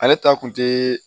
Ale ta kun te